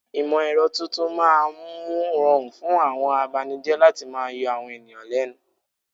Ìmọ̀ ẹ̀rọ tuntun máa mú ún rọrùn fún àwọn abanijẹ́ láti máa yọ àwọn ènìyàn lẹ́nu.